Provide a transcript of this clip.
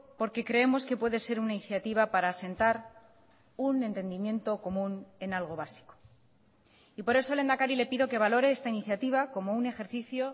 porque creemos que puede ser una iniciativa para asentar un entendimiento común en algo básico y por eso lehendakari le pido que valore esta iniciativa como un ejercicio